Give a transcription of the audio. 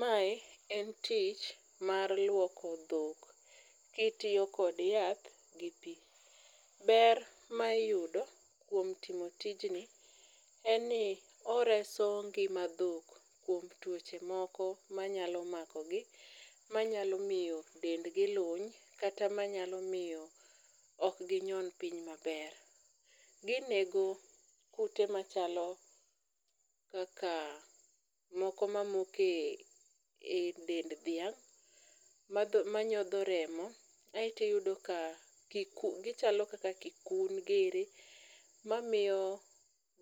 Mae en tich mar luoko dhok kitiyo kod yath gi pi. Ber ma iyudo kuom timo tijni en ni oreso ngima dhok kuom tuoche moko manyalo makogi, manyalo miyo dendgi luny, kata manyalo miyo okginyon piny maber. Ginego kute machalo kaka moko e dend dhiang' manyodho remo aeto iyudo ka gichalo kaka kikun giri mamiyo